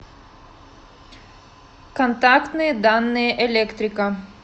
контактные данные электрика